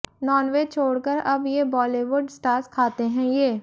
nonveg छोड़कर अब ये बॉलीवुड स्टार्स खाते हैं ये